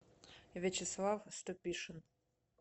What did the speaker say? вячеслав ступишин